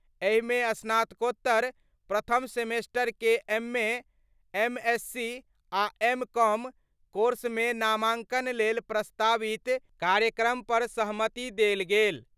एहि मे स्नातकोत्तर प्रथम सेमेस्टर के एमए, एमएससी आ एम.कॉम कोर्स मे नामांकन लेल प्रस्तावित कार्यक्रम पर सहमति देल गेल।